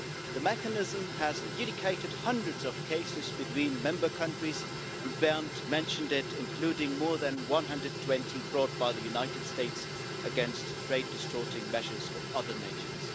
The mechanism has adjudicated hundreds of cases between member countries including more than 120 brought by the United States against trade distorting measures of other nations.